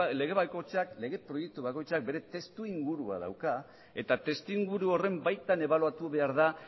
lege bakoitza lege proiektu bakoitzak bere testuingurua dauka eta testuinguru horren baitan ebaluatu behar da